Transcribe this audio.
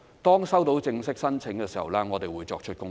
當收到正式申請的時候，我們會作出公布。